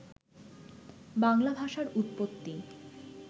বাংলা ভাষার উৎপত্তি